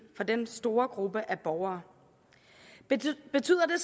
for den store gruppe af borgere men betyder